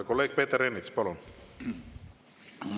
Kolleeg Peeter Ernits, palun!